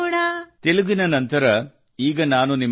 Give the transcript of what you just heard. ಭಾರತೀಯ ಸ್ವತಂತ್ರತಾ ಸಂಗ್ರಾಮ್ ಕೇ ಅಂಕುರ್ ಹೋ ಅಂಕುಶ್ ಹೋ